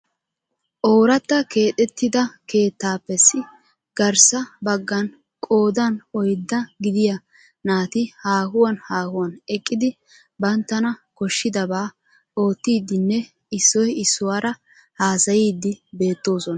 Oorata keexxetida keettapps garssa baggan qoodan oydda gidiyaa naati haahuwan haahuwan eqqidi banttana koshshidaba oottidin e issoy issuwaara haassayidi beettoosona.